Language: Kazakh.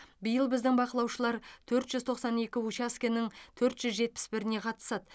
биыл біздің бақылаушылар төрт жүз тоқсан екі учаскенің төрт жүз жетпіс біріне қатысады